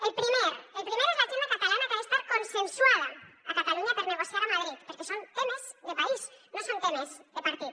el primer és l’agenda catalana que ha d’estar consensuada a catalunya per negociar a madrid perquè són temes de país no són temes de partit